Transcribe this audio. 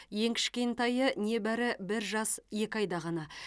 ең кішкентайы небары бір жас екі айда ғана